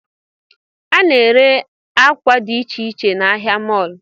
A na-ere akwa dị icheiche n'ahịa mọlụ